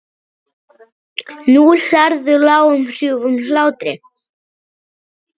Nú hlærðu, lágum hrjúfum hlátri.